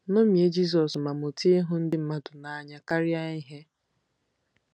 Ṅomie Jizọs ma mụta ịhụ ndị mmadụ n'anya karịa ihe.